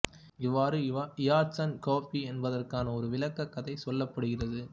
இவ்வாறு ஈயடிச்சான் கொப்பி என்பதற்கான ஒரு விளக்கக் கதை சொல்லப்படுகிறது